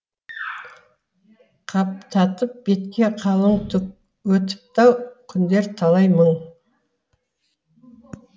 қаптатып бетке қалың түк өтіпті ау күндер талай мың